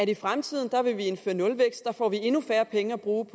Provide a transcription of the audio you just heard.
i fremtiden vil indføre nulvækst der får vi endnu færre penge at bruge